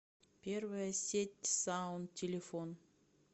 первая сеть саун телефон